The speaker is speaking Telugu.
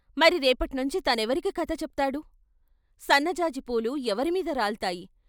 మరి రేపట్నించి తనెవరికి కథ చెప్తాడు సన్నజాజి పూలు ఎవరిమీద రాల్తాయి?